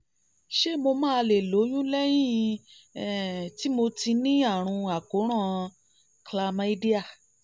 ṣé mo máa lè lóyún lẹ́yìn um tí mo ti ní àrùn àkóràn chlamydia?